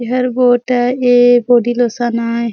एहर बहुत है ये बॉडी लोशन आय।